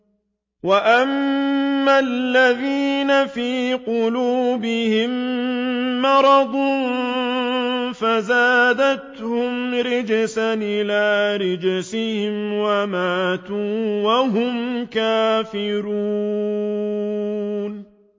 وَأَمَّا الَّذِينَ فِي قُلُوبِهِم مَّرَضٌ فَزَادَتْهُمْ رِجْسًا إِلَىٰ رِجْسِهِمْ وَمَاتُوا وَهُمْ كَافِرُونَ